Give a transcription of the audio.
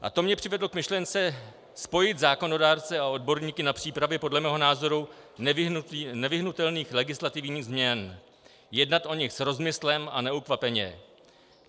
A to mě přivedlo k myšlence spojit zákonodárce a odborníky na přípravě podle mého názoru nevyhnutelných legislativních změn, jednat o nich s rozmyslem a neukvapeně.